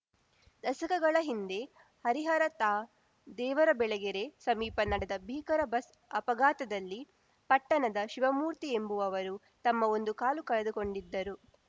ದಶಕಗಳ ಹಿಂದೆ ಹರಿಹರ ತಾ ದೇವರಬೆಳಗೆರೆ ಸಮೀಪ ನಡೆದ ಭೀಕರ ಬಸ್‌ ಅಪಘಾತದಲ್ಲಿ ಪಟ್ಟಣದ ಶಿವಮೂರ್ತಿ ಎಂಬುವವರು ತಮ್ಮ ಒಂದು ಕಾಲು ಕಳೆದುಕೊಂಡಿದ್ದರು